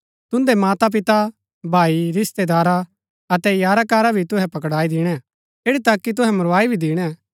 तुन्दै मातापिता भाई रिशतैदारा अतै यारा कारा भी तुहै पकड़ाई दिणै ऐठी तक की तुहै मरवाई भी दिणै